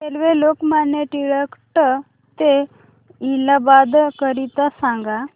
railway Lokmanya Tilak T ते इलाहाबाद करीता सांगा